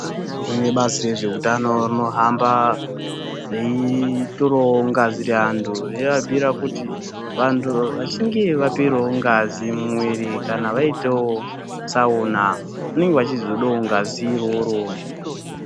Kune bazi rezveutano rinohamba reitorawo ngazi reantu, reiabhuyire kuti vantu vachinge vaperawo ngazi mumwiri kana vaitawo tsaona vanonga vachizodawo ngazi iroro.